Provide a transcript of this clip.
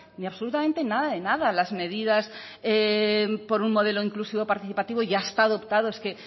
ni absolutamente nada de nada las medidas por un modelo inclusivo participativo ya están adoptado